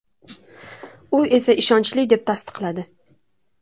U esa ishonchli deb tasdiqladi.